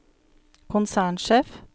konsernsjef